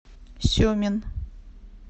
семин